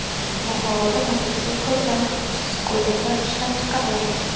Buxoroda mototsikl va skuterlar ishlab chiqariladi.